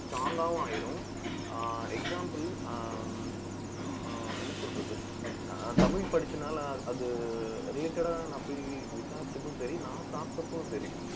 strong காவும் ஆயிரும். ஆஹ் example ஆஹ் ஆஹ் என்ன சொல்றது ஆஹ் தமிழ் படிச்சனால, அது related ஆ நான் போய் விசாரிச்சப்பவும் சரி, நான் சாப்பிட்டப்பவும் சரி